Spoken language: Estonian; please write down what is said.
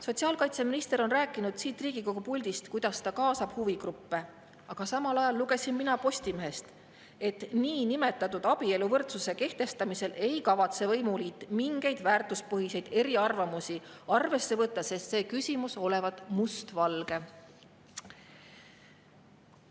Sotsiaalkaitseminister on rääkinud siit Riigikogu puldist, kuidas ta kaasab huvigruppe, aga mina lugesin Postimehest, et niinimetatud abieluvõrdsuse kehtestamisel ei kavatse võimuliit mingeid väärtuspõhiseid eriarvamusi arvesse võtta, sest see küsimus olevat mustvalge.